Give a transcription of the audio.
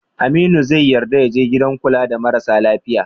Aminu zai yarda ya je gidan kula da marasa lafiya?